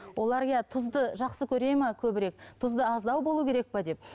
олар иә тұзды жақсы көре ме көбірек тұзды аздау болу керек пе деп